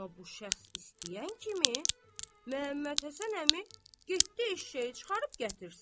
Amma bu şəxs istəyən kimi Məhəmməd Həsən əmi getdi eşşəyi çıxarıb gətirsin.